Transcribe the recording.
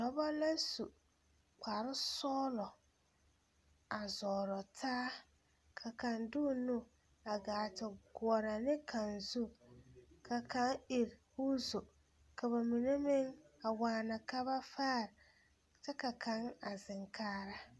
Dɔba la su kparesɔglɔ a zɔɔrɔ taa la kaŋ de o nu a gaa te goɔrɔ ne kaŋ zu ka kaŋ iri k,o zu ka ba mine meŋ a waana ka ba faare kyɛ ka kaŋ a zeŋ kaara.